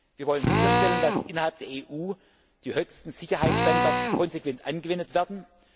Wir wollen sicherstellen, dass innerhalb der EU die höchsten Sicherheitsstandards konsequent angewendet werden.